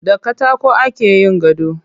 Da katako ake yin gado.